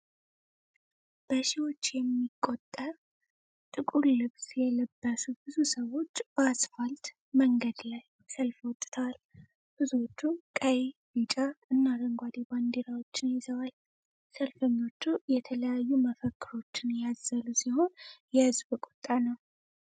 በሺዎች የሚቆጠ ጥቁር ልብስ የለበሱ ብዙ ሰዎች በአስፋልት መንገድ ላይ ሰልፍ ወጥተዋል። ብዙዎች ቀይ፣ ቢጫ እና አረንጓዴ ባንዲራዎችን ይዘዋል። ሰልፈኞቹ የተለያዩ መፈክሮችን ያዘሉ ሲሆን፣ የሕዝብ ቁጣ ነው።